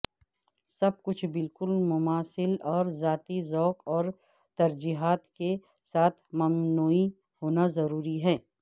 سب کچھ بالکل مماثل اور ذاتی ذوق اور ترجیحات کے ساتھ سمنوی ہونا ضروری ہے